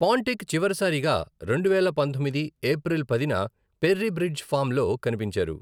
పాంటిక్ చివరిసారిగా రెండువేల పంతొమ్మిది ఏప్రిల్ పదిన పెర్రీ బ్రిడ్జ్ ఫార్మ్లో కనిపించారు.